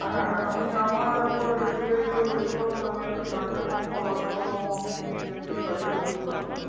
হ্যাঁ আমি আমার একবার SBI তে হয়েছিল মানে আমি একটা joint কম করার জন্য try করেছিলাম